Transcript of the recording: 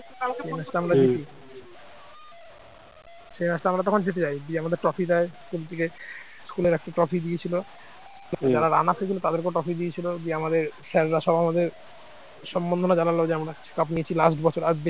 সেই match টা তখন আমরা জিতে যাই দিয়ে আমাদের trophy দেয় cricket school র একটা trophy দিয়েছিল যারা run up হয়েছিল তাদেরকে ও trophy দিয়েছিল দিয়ে আমাদের sir রা সব আমাদের সম্বন্ধনা জানালো যে আমরা সব last বছর